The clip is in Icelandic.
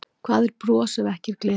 Hvað er bros ef ekki er gleði?